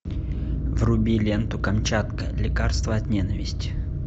вруби ленту камчатка лекарство от ненависти